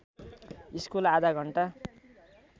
school आधा घण्टा